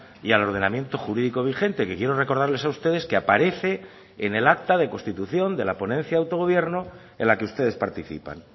y al ordenamiento jurídico vigente que quiero recordarles a ustedes que aparece en el acta de constitución de la ponencia de autogobierno en la que ustedes participan